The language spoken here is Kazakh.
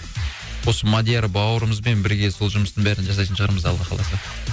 осы мадияр бауырымызбен бірге сол жұмыстың бәрін жасайтын шығармыз алла қаласа